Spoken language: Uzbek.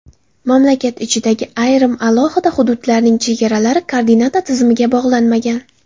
Mamlakat ichidagi ayrim alohida hududlarning chegaralari koordinata tizimiga bog‘lanmagan.